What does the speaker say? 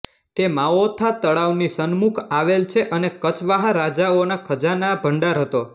તે માઓથા તળાવની સન્મુખ આવેલ છે અને કચવાહા રાજાઓના ખજાના ભંડાર હતો